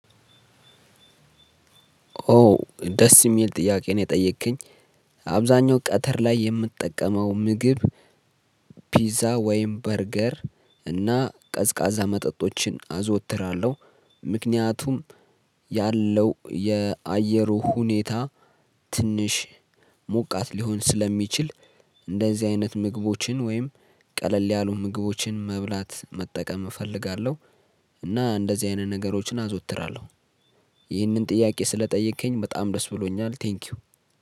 ኦ ደስ የሚል ጥያቄ ነው የጠየቅከኝ። አብዛኛው ቀትር ላይ የምጠቀመው ምግብ። ፒዛ ወይም በርገር እና ቀዝቃዛ መጠጦችን አዘወትራለሁ። ምክንያቱም ያለው የአየሩ ሁኔታ ትንሽ ሞቃት ሊሆን ስለሚችል። እንደዚ አይነት ምግቦችን ውይም ቀለል ያሉ ምግቦችን መብላት መጠቀም እፈልጋለሁ። እና እንደዚህ አይነት ነገሮችን አዘወትራለሁ። ይህንን ጥያቄ ስለጠየከኝ በጣም ደስ ብሎኛል ቴንኪው።